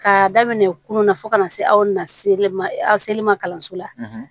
K'a daminɛ kunu na fo ka na se aw na seli ma aw seli ma kalanso la